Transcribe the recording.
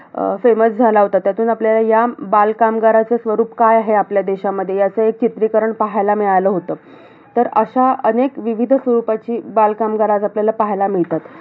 अं famous झाला होता. त्यातून आपल्याला या बालकामगाराचं स्वरूप काय आहे आपल्या देशामध्ये, याचं एक चित्रीकरण पाहायला मिळालं होतं. तर अशा अनेक विविधं स्वरुपाची बालकामगार आज आपल्याला पाहायला मिळतात.